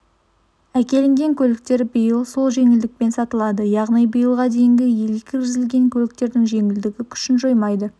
әкелінген көліктер биыл сол жеңілдікпен сатылады яғни биылға дейін елге кіргізілген көліктердің жеңілдігі күшін жоймайды